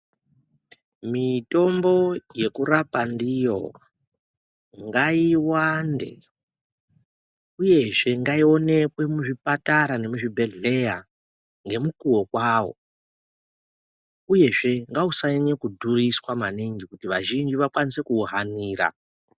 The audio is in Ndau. Mitombo yeku rapa ndiyo ngai wande uyezve ngayi onekwe mu zvipatara ne mu zvibhedhleya nge mukuwo kwawo uyezve ngausa nyanya kudhuriswa maningi kuti vazhinji vakwanise kuwu hanira.